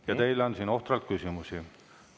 Ja teile on siin ohtralt küsimusi.